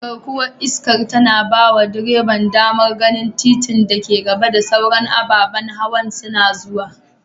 Garkuwar iska tana bawa direban damar ganin titin da ke gaba da sauran ababan hawa suna zuwa.